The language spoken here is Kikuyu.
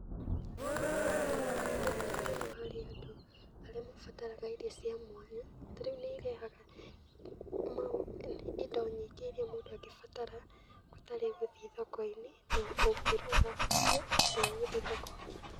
Cikoragwo na itemi rĩnene mũno harĩ andũ arĩa mabataraga irio cia mwanya, ta rĩu nĩ irehaga indo nyingĩ iria mũndũ angĩbatara gũtarĩ gũthiĩ thoko-inĩ na ũngĩruga icio handũ ha gũthiĩ thoko.